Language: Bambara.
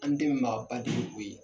An den maa ba de ye koyi.